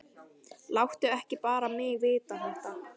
Láttu ekki bara mig vita þetta.